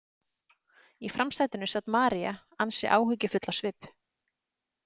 Í framsætinu sat María, ansi áhyggjufull á svip.